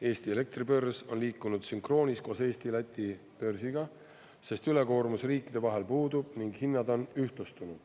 Eesti elektribörs on liikunud sünkroonis koos Eesti-Läti börsiga, sest ülekoormus riikide vahel puudub ning hinnad on ühtlustunud.